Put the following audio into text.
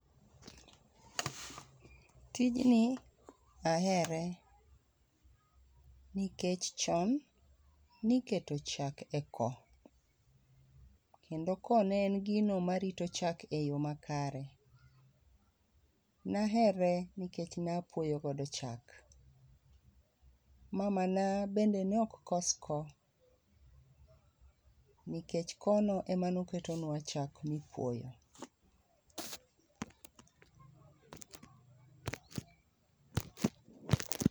Tijni ahere ni keche chon ni keto chak e ko kendo ko ne en gino ma ne rito chak e yo makare nahere nikech ne a puoyo kodo chak mama na bende ne ok kos ko nikech ko no ema ne i ketonwa chak ma i puoyo.